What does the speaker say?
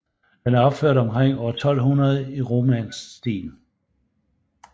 Den er opført omkring år 1200 i romansk stil